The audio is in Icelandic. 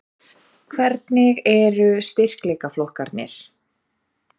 Hvernig eru styrkleikaflokkarnir?